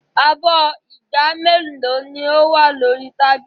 Abọ́ ìgb mélòó ni ó wà ní orí tábìlì?